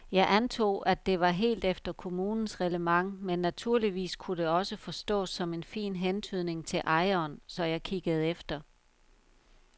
Jeg antog, at det var helt efter kommunens reglement men naturligvis kunne det også forstås som en fin hentydning til ejeren, så jeg kiggede efter.